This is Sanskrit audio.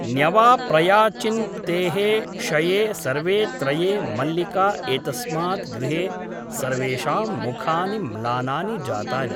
न्यवा प्रया चिन् प्तेः षये सर्वे त्रये मल्लिका एतस्मात् गृहे सर्वेषां मुखानि म्लानानि जातानि ।